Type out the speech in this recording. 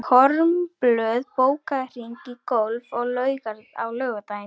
Kormlöð, bókaðu hring í golf á laugardaginn.